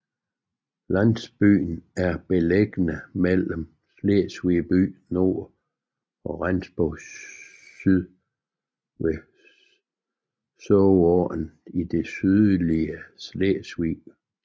Landsbyen er beliggende mellem Slesvig by i nord og Rendsborg i syd ved Sorgåen i det sydlige Sydslesvig